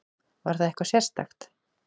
Var það eitthvað sérstakt?